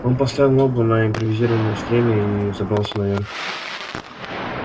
он поставил ногу на импровизированное стремя и взобрался наверх